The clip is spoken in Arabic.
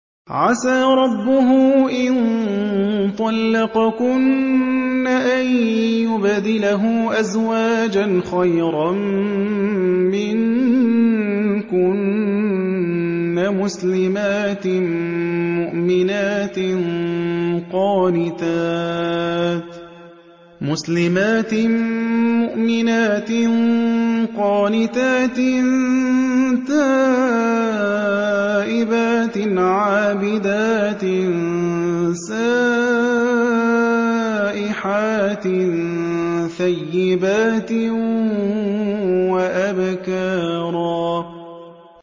عَسَىٰ رَبُّهُ إِن طَلَّقَكُنَّ أَن يُبْدِلَهُ أَزْوَاجًا خَيْرًا مِّنكُنَّ مُسْلِمَاتٍ مُّؤْمِنَاتٍ قَانِتَاتٍ تَائِبَاتٍ عَابِدَاتٍ سَائِحَاتٍ ثَيِّبَاتٍ وَأَبْكَارًا